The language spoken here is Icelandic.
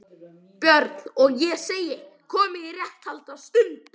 BJÖRN: Og ég segi: Komið í réttarhald á stundinni